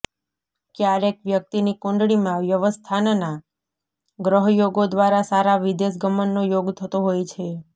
ક્યારેક વ્યક્તિની કુંડળીમાં વ્યયસ્થાનના ગ્રહયોગો દ્વારા સારા વિદેશગમનનો યોગ થતો હોય છે